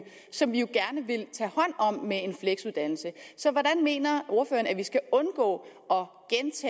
som vi jo gerne vil tage hånd om med en fleksuddannelse så hvordan mener ordføreren vi skal undgå